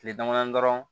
Kile dama damani dɔrɔn